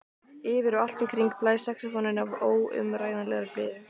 Yfir og allt um kring blæs saxófónninn af óumræðilegri blíðu.